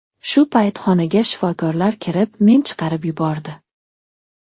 Shu payt xonaga shifokorlar kirib, men chiqarib yubordi.